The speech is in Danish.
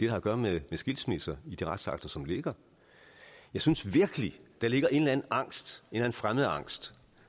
har at gøre med skilsmisser i de retsakter som ligger jeg synes virkelig der ligger en eller angst en fremmedangst